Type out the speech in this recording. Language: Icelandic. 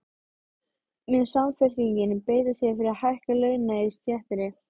Mun Samfylkingin beita sér fyrir hækkun launa í stéttinni?